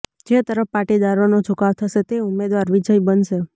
જે તરફ પાટીદારોનો ઝુકાવ જશે તે ઉમેદવાર વિજય બનશે